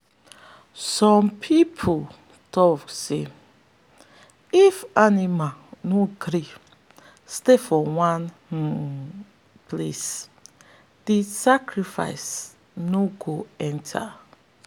some people tok say if animal no gree stay for one um place the sacrifice no go enter.